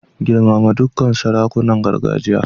Girmama dukkan sarakunan gargajiya.